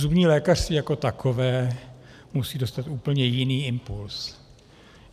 Zubní lékařství jako takové musí dostat úplně jiný impuls.